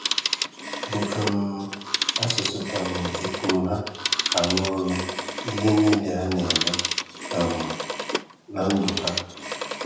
Bụ̀ um asụsụ um e pụ̀m ha, arụ ọrụ n’ihe niile ha na-eme um n’ndụ a.